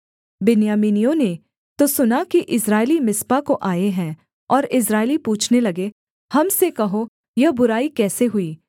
बिन्यामीनियों ने तो सुना कि इस्राएली मिस्पा को आए हैं और इस्राएली पूछने लगे हम से कहो यह बुराई कैसे हुई